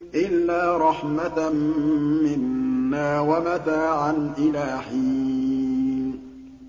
إِلَّا رَحْمَةً مِّنَّا وَمَتَاعًا إِلَىٰ حِينٍ